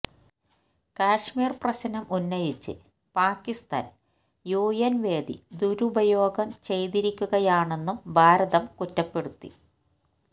കശ്മീര് പ്രശ്നം ഉന്നയിച്ച് പാക്കിസ്ഥാന് യുഎന് വേദി ദുരുപയോഗം ചെയ്തിരിക്കുകയാണെന്നും ഭാരതം കുറ്റപ്പെടുത്തി